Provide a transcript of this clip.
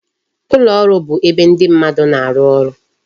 Ụlọ ọrụ bụ ebe ndị mmadụ na-arụ ọrụ